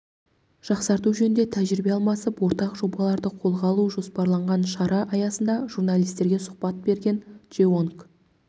жақсарту жөнінде тәжірибе алмасып ортақ жобаларды қолға алу жоспарланған шара аясында журналистерге сұхбат берген джеонг